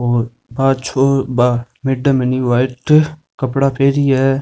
और पाछो बा मेडम है नि व्हाइट कपडा पेहरि है।